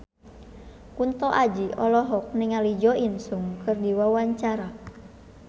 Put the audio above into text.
Kunto Aji olohok ningali Jo In Sung keur diwawancara